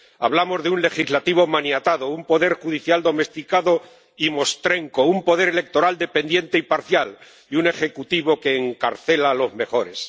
Hablamos de un Legislativo maniatado, un Poder Judicial domesticado y mostrenco, un poder electoral dependiente y parcial, y un Ejecutivo que encarcela a los mejores.